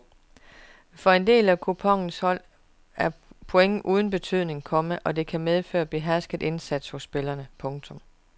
For en del af kuponens hold er point uden betydning, komma og det kan medføre behersket indsats hos spillerne. punktum